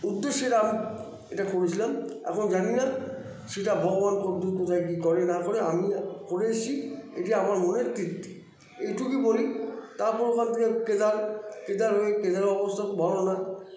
উদ্দেশ্যে রাম এটা করেছিলাম এখন জানিনা সেটা ভগবান কতদুর কী করে না করে আমি করে এসছি এটা আমার মনের তৃপ্তি এইটুকুই বলি তারপর ওখান থেকে কেদার কেদার হয়ে কেদারের অবস্থা খুব ভালো না